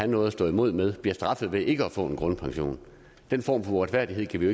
noget at stå imod med bliver straffet ved ikke at få grundpension den form for uretfærdighed kan vi